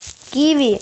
киви